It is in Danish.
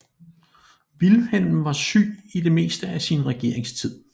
Vilhelm var syg i det meste af sin regeringstid